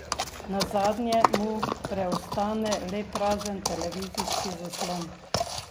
Nazadnje mu preostane le prazen televizijski zaslon.